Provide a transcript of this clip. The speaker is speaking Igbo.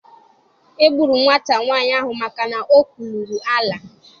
E gburu nwata nwanyị ahụ maka na o kwuluru Allah.